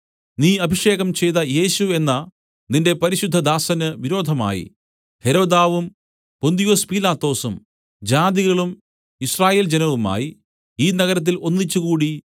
നീ അഭിഷേകം ചെയ്ത യേശു എന്ന നിന്റെ പരിശുദ്ധദാസന് വിരോധമായി ഹെരോദാവും പൊന്തിയൊസ് പീലാത്തോസും ജാതികളും യിസ്രായേൽ ജനവുമായി ഈ നഗരത്തിൽ ഒന്നിച്ചുകൂടി